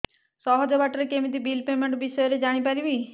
ସହଜ ବାଟ ରେ କେମିତି ବିଲ୍ ପେମେଣ୍ଟ ବିଷୟ ରେ ଜାଣି ପାରିବି